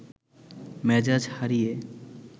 মেজাজ হারিয়ে